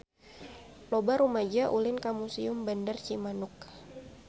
Loba rumaja ulin ka Museum Bandar Cimanuk